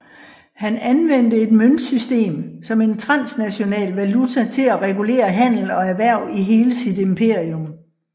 Han anvendte et møntsystem som en transnational valuta til at regulere handel og erhverv i hele sit imperium